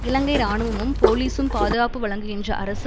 இலங்கை இராணுவமும் போலிசும் பாதுகாப்பு வழங்குகின்ற அரசு